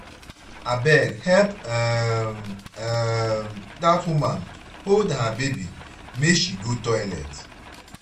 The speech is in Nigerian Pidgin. abeg help um um dat woman hold her baby make she go toilet.